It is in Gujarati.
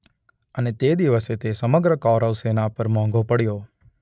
અને તે દિવસે તે સમગ્ર કૌરવ સેના પર મોંઘો પડ્યો.